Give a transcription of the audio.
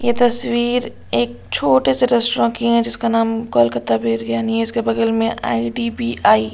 ये तस्वीर एक छोटे से रेस्टोरेंट की है जिसका नाम कोलकाता बिरियानी है इसके बगल में आई_डी_बी_आई --